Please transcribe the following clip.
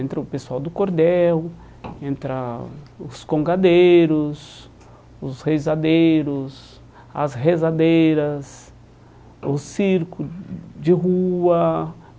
Entra o pessoal do cordel, entra os congadeiros, os rezadeiros, as rezadeiras, o circo de rua.